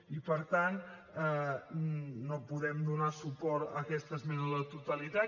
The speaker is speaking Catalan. i per tant no podem donar suport a aquesta esmena a la totalitat